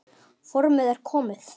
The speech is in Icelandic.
Formið er komið!